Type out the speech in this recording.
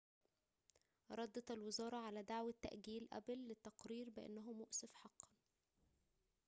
ردت الوزارة على دعوة تأجيل أبل للتقرير بأنه مؤسف حقاً